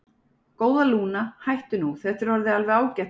Góða, Lúna, hættu nú, þetta er orðið alveg ágætt hjá þér.